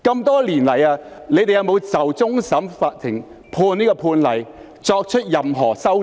多年來，你們有否就終審法院的判例作出任何修訂？